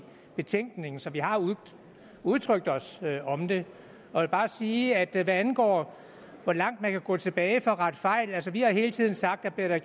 betænkningen så vi har udtrykt os om det jeg vil bare sige at hvad angår hvor langt man kan gå tilbage for at rette fejl har vi hele tiden sagt at bliver der